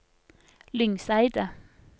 Lyngseidet